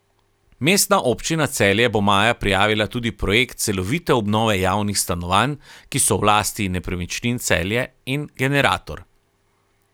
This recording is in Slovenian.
Mestna občina Celje bo maja prijavila tudi projekt Celovite obnove javnih stanovanj, ki so v lasti Nepremičnin Celje, in Generator.